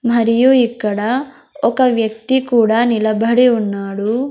మరియు ఇక్కడ ఒక వ్యక్తి కూడా నిలబడి ఉన్నాడు.